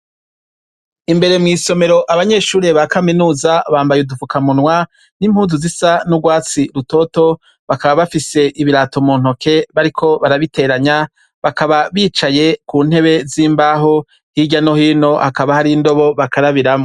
Imbere mw'isomero, abanyeshure ba kaminuza bambaye udufukamunwa n'impuzu zisa n'urwatsi rutoto, bakaba bafise ibirato mu ntoke bariko barabiteranya bakaba bicaye ku ntebe z'imbaho, hirya no hino hakaba hari indobo bakarabiramwo.